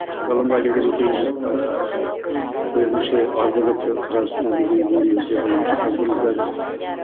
ғылымға келгеннен кейін ыыы өзімізше азды көпті біраз өзіміздің деңгейімізде ғылым жасап жүрміз қазір